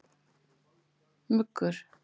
Muggur